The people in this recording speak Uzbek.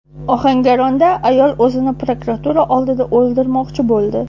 Ohangaronda ayol o‘zini prokuratura oldida o‘ldirmoqchi bo‘ldi.